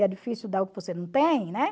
E é difícil dar o que você não tem, né?